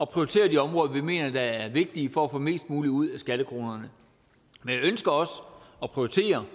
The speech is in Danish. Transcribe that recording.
prioritere de områder vi mener er vigtige for at få mest muligt ud af skattekronerne men jeg ønsker også at prioritere